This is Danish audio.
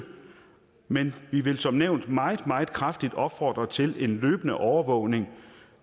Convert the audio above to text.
men vi vil som nævnt meget meget kraftigt opfordre til en løbende overvågning